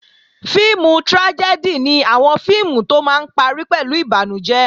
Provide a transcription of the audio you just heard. Fíìmù trájẹ́dì ni àwọn fíìmù tó máa ń parí pẹ̀lú ìbànújẹ́